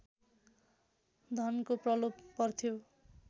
धनको प्रलोभ पर्थ्यो